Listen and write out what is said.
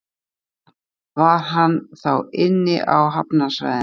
Jóhann: Var hann þá inni á hafnarsvæðinu?